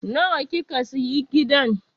Nawa kika sayi gidan?